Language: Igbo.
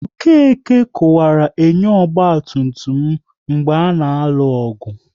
Okeke kuwaru enyo ọgba tum tum m mgbe a na-alụ ọgụ